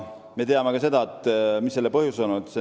Me teame ka seda, mis on olnud selle põhjused.